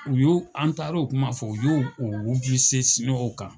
U y'o ,an taara u kuma fɔ u y'o o kan.